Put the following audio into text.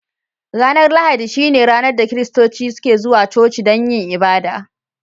Ranar Lahadi shine ranar da kiristoci suke zuwa cuci dan yin abada.